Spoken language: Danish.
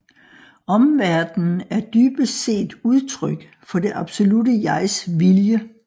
Omverdenen er dybest set udtryk for det absolutte jegs vilje